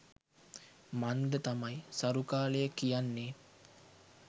මන්ද තමයි සරු කාලය කියන්නෙ.